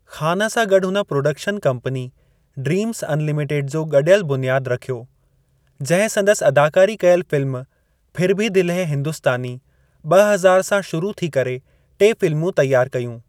ख़ान सां गॾु हुन प्रोडक्शन कंपनी ड्रीम्ज़ अनलिमिटेड जो गडि॒यलु बुनियादु रखियो, जिंहिं संदसि अदाकारी कयलु फ़िल्म फिर भी दिल है हिंदुस्तानी (ॿ हज़ार) सां शुरू थी करे टे फ़िल्मूं तैयार कयूं।